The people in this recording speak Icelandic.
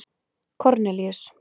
Kornelíus